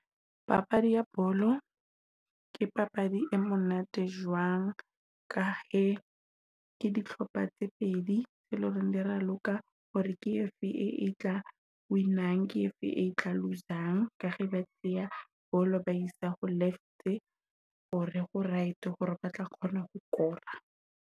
Papadi ya bolo ke papadi e monate jwang ka e ke dihlopha tse pedi tse loreng dia raloka hore ke efe e tla wina ke efe etla lose. Ka he papadi ya bolo ba e isa ho left hore ho right hore ba tla kgona ho kora.